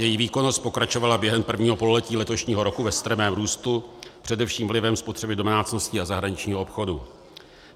Její výkonnost pokračovala během prvního pololetí letošního roku ve strmém růstu, především vlivem spotřeby domácností a zahraničního obchodu.